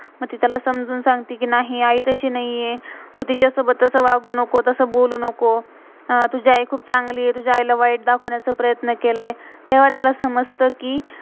मग ती त्याला समजुन सांगते कि, नहीं! आई तशी नाहीये, तू तिच्यासोबत तसं वगु नको. तसं बोलू नको. तुझी आई खुप चांगली आहे. तुझ्या आई ला वाइट दाखवण्याच प्रयत्न केलाय. तेव्हा त्याला समझत कि,